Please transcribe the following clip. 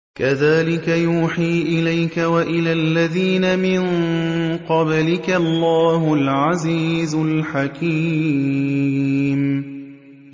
كَذَٰلِكَ يُوحِي إِلَيْكَ وَإِلَى الَّذِينَ مِن قَبْلِكَ اللَّهُ الْعَزِيزُ الْحَكِيمُ